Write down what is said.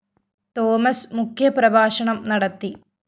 Thomas മുഖ്യ പ്രഭാഷണം നടത്തി